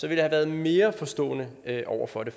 jeg have været mere forstående over for det